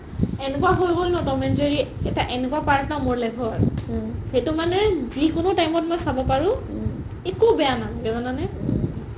এনেকুৱা হয় গ'ল ন ত'ম and জেৰি এটা এনেকুৱা part ন মোৰ life t সেইটো মানে যিকোনো time ত চাব পাৰো একো বেয়া নালাগে জানা নে